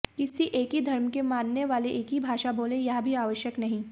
किसी एक ही धर्म के मानने वाले एक ही भाषा बोलें यह भी आवश्यक नहीं